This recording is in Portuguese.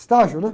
Estágio, né?